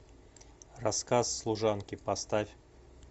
рассказ служанки поставь